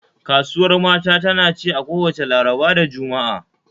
Kasuwar mata tana ci a kowacce Laraba da Juma'a